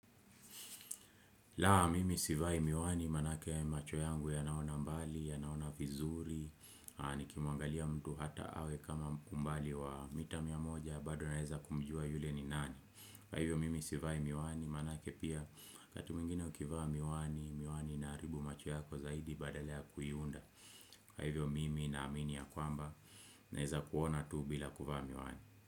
Laa mimi sivai miwani maanake ya macho yangu ya naona mbali, ya naona vizuri, nikimuangalia mtu hata awe kama umbali wa mita mia moja baado naeza kumjua yule ni nani. Kwa hivyo mimi sivai miwani maanake pia wakati mwingine ukivaa miwani, miwani inaharibu macho yako zaidi badala kuiunda. Kwa hivyo mimi na amini ya kwamba naeza kuona tu bila kuvaa miwani.